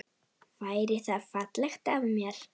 Væri það fallegt af mér?